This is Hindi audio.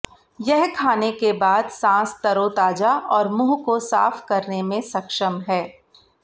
यह खाने के बाद सांस तरोताजा और मुंह को साफ करने में सक्षम है